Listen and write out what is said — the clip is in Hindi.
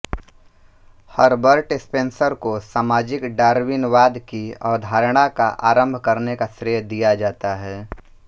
हरबर्ट स्पेंसर को सामाजिक डार्विनवाद की अवधारणा का आरम्भ करने का श्रेय दिया जाता है